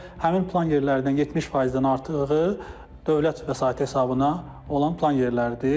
və həmin plan yerlərindən 70%-dən artığı dövlət vəsaiti hesabına olan plan yerləridir.